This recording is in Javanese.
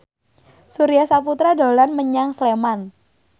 Surya Saputra dolan menyang Sleman